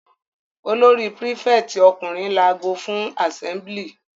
Olórí prífẹ̀tì ọkùnrin lago fún àsẹ́mblì.